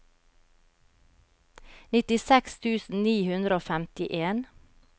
nittiseks tusen ni hundre og femtien